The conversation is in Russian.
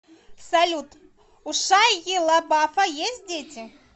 салют у шайи лабафа есть дети